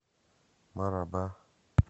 мараба